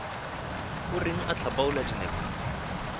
o reng o hlapaola dinepo